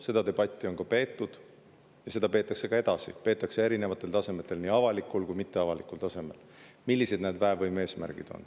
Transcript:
Seda debatti, millised on need väevõime eesmärgid, on peetud ja peetakse ka edasi, peetakse erinevatel tasemetel, nii avalikul kui ka mitteavalikul tasemel.